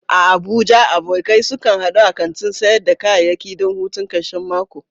A Abuja, abokai sukan hadu a kantin sayar da kayayyaki don hutun karshen mako?